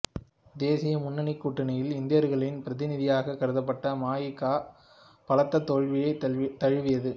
தேசிய முன்னணி கூட்டணியில் இந்தியர்களின் பிரதிநிதியாகக் கருதப்பட்ட ம இ கா பலத்த தோல்வியைத் தழுவியது